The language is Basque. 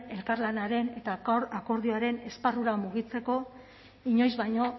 elkarlanaren eta akordioaren esparrura mugitzeko inoiz baino